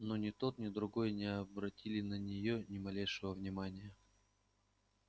но ни тот ни другой не обратили на нее ни малейшего внимания